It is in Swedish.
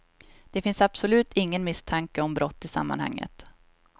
Det finns absolut ingen misstanke om brott i sammanhanget.